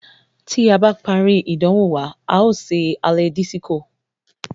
Tí a bá parí ìdánwò wa, a ó ṣe alẹ́ dísíkó.